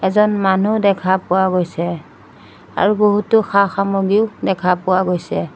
এজন মানুহ দেখা পোৱা গৈছে আৰু বহুতো সা-সামগ্ৰীও দেখা পোৱা গৈছে।